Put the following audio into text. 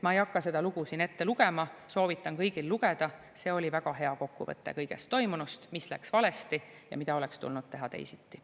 Ma ei hakka seda lugu siin ette lugema, soovitan kõigil lugeda, see oli väga hea kokkuvõte kõigest toimunust, mis läks valesti ja mida oleks tulnud teha teisiti.